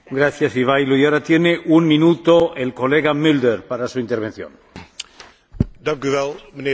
Voorzitter, dat de onderhandelingen zeer moeilijk beginnen te worden, dat is niets nieuws.